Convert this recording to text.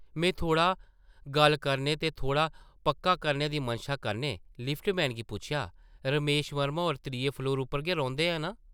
मैं थोह्ड़ा गल्ल करने ते थोह्ड़ा पक्का करने दी मनशा कन्नै लिफ्ट-मैन गी पुच्छेआ, ‘‘रमेश वर्मा होर त्रिये फ्लोर उप्पर गै रौंह्दे न नां ?’’